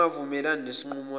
ungavumelani nesinqumo sabo